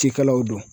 Cikɛlaw don